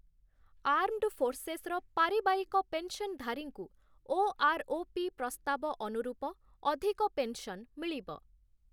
Armed ଫୋର୍ସେସ୍‌ର ପାରିବାରିକ pension ଧାରୀଙ୍କୁ ଓ.ଆର୍‌.ଓ.ପି. ପ୍ରସ୍ତାବ ଅନୁରୂପ ଅଧିକ ପେନ୍‌ସନ୍‌ ମିଳିବ ।